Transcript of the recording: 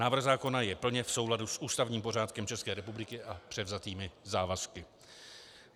Návrh zákona je plně v souladu s ústavním pořádkem České republiky a převzatými závazky.